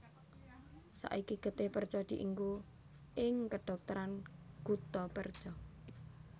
Saiki getih perca dienggo ing kedhokteran guttapercha